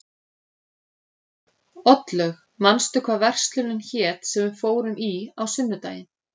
Oddlaug, manstu hvað verslunin hét sem við fórum í á sunnudaginn?